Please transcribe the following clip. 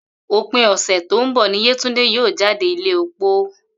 Òpin ò̩sè̩ tó ń bò̩ ni Yétúndé yóò jáde ilé opó